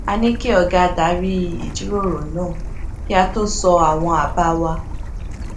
a ní kí ọga darí ìjíròrò náà kí a tó sọ àwọn àbá wa